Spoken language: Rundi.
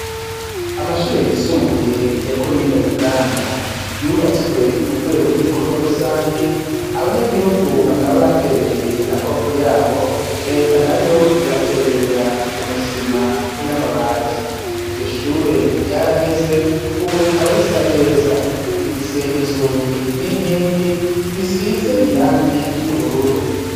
Amashure yisumbuye yakomine buganda yubatswe mu rwego rw'ibikorwa rusangi abanyagihugu bakaba baterereye amaboko yabo reta na yo ibaterera umusima n'amabati iryo shure ryaraheze, ubu rikaba risa neza rifise inzugi ninkingi bisize irangi ry'ubururu.